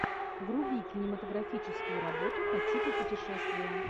вруби кинематографическую работу по типу путешествия